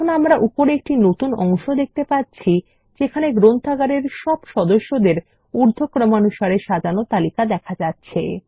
এখন আমরা উপরে একটি সম্পূর্ণ নতুন অংশ দেখতে পাচ্ছি যেখানে গ্রন্থাগারের সব সদস্যদের নাম উর্ধক্রমানুসারে সাজানো রয়েছে